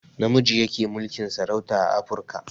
Namiji yake mulkin sarauta a afruka